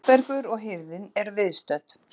Þórbergur og hirðin eru viðstödd.